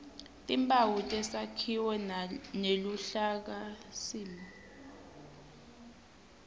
timphawu tesakhiwo neluhlakasimo